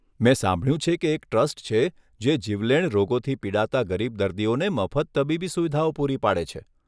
મેં સાંભળ્યું છે કે એક ટ્રસ્ટ છે જે જીવલેણ રોગોથી પીડાતા ગરીબ દર્દીઓને મફત તબીબી સુવિધાઓ પૂરી પાડે છે.